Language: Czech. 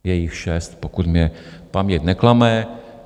Je jich šest, pokud mne paměť neklame.